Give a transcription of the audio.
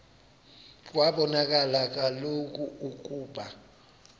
kwabonakala kaloku ukuba